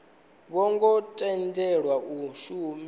vho ngo tendelwa u shumisa